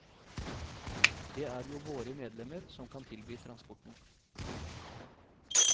Det er jo våre medlemmer som kan tilby transporten.